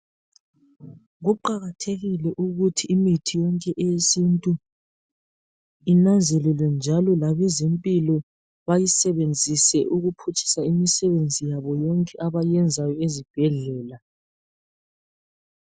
Kuqakathekile ukuthi imithi yonke eyesintu inanzelelwe njalo labezempilo bayisebenzise ukuphutshisa imisebenzi yabo yonke abayenzayo ezibhedlela.